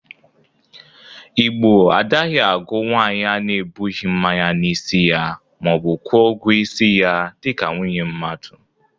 Igbo adaghị agụ nwaanyị a na-ebụghi mmanya n'isi ya ma ọ bụ kwọ ọgwọ isi ya dịka nwunye mmadụ.